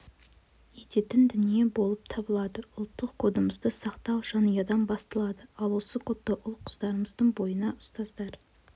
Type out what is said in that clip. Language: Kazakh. ететін дүние болып табылады ұлттық кодымызды сақтау жанұядан басталады ал осы кодты ұл-қыздарымыздың бойына ұстаздар